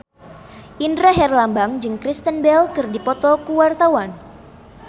Indra Herlambang jeung Kristen Bell keur dipoto ku wartawan